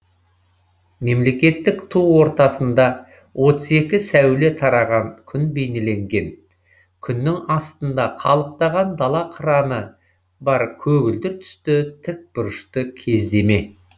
мемлекеттік ту ортасында отыз екі сәуле тараған күн бейнеленген күннің астында қалықтаған дала қыраны бар көгілдір түсті тікбұрышты кездеме